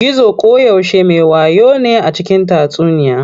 Gizo koyaushe me wayo ne a cikin tatsuniya.